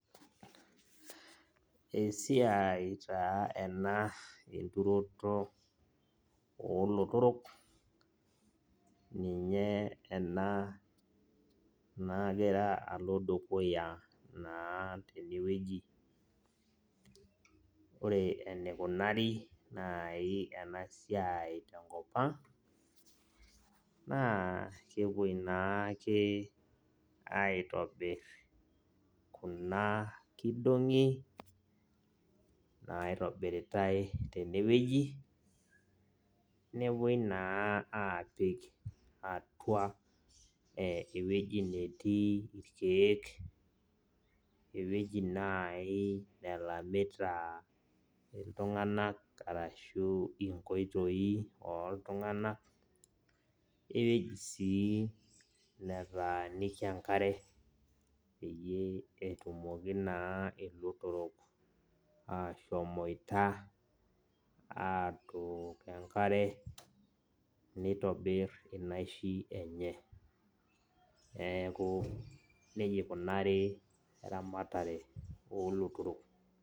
Esiai taa ena enturoto olotorok ninye ena nagira alo dukuya tenewueji, ore enikunari nai enasiai tenkopang na kepuoi naake aitobir kuna kidongi naitobiritae tenewueji newuei napuoi apik atua ewueji natii irkiek, ewuei nai napiki ltunganak ashu inkoitoi oltunganak keji sii nataaniki enkare pitumoki na ashomoita atoook enkare nitobir eramatare olotorok.